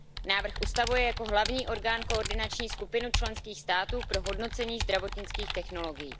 Návrh ustavuje jako hlavní orgán koordinační skupinu členských států pro hodnocení zdravotnických technologií.